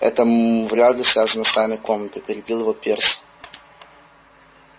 это м-м вряд ли связано с тайной комнатой перебил его перси